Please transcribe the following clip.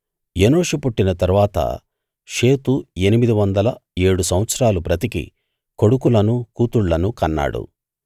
ఎనోషు పుట్టిన తరువాత షేతు ఎనిమిది వందల ఏడు సంవత్సరాలు బ్రతికి కొడుకులను కూతుళ్ళను కన్నాడు